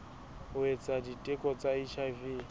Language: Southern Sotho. ho etsa diteko tsa hiv